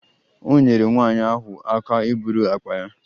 O nyeere nwanyị ahụ aka iburu akpa ya